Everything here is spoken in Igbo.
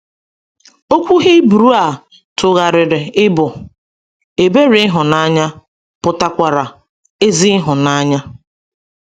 Okwu Hibru a tugharịrị ịbụ “ ebere ịhụnanya ” pụtakwara “ ezi ịhụnanya. ”